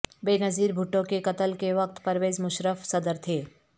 بےنظیر بھٹو کے قتل کے وقت پرویز مشرف صدر تھے